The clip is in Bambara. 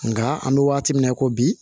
Nka an bɛ waati min na i ko bi